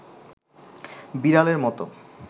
বিড়ালের মতো